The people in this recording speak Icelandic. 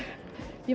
ég